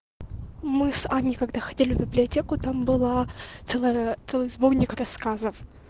мы с аней когда ходили в библиотеку там была целая целый сборник рассказов